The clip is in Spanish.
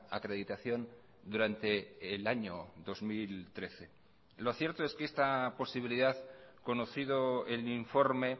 acreditación durante el año dos mil trece lo cierto es que esta posibilidad conocido el informe